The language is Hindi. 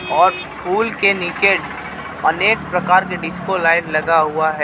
और फूल के नीचे अनेक प्रकार के डिस्को लाइट् लगा हुआ है.